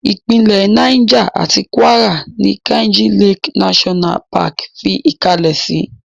Ìpínlẹ̀ Niger àti Kwara ní Kainji Lake National Park fi ìkalẹ̀ sí.